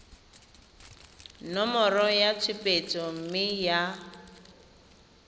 nomoro ya tshupetso mme ya